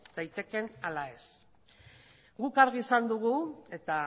daitekeen ala ez guk argi esan dugu eta